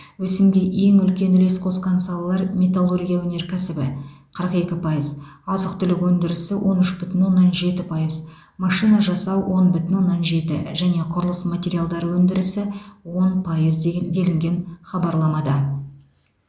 өсімге ең үлкен үлес қосқан салалар металлургия өнеркәсібі қырық екі пайыз азық түлік өндірісі он үш бүтін оннан жеті пайыз машина жасау он бүтін оннан жеті және құрылыс материалдары өндірісі он пайыз деген делінген хабарламада